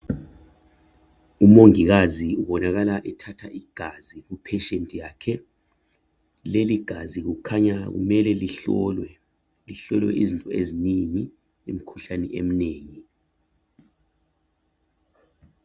Umongikazi ubonakala ethatha igazi kupatient yakhe leligazi kukhanya kumele lihlolwe, lihlolwe izinto ezinengi lemikhulane eminengi.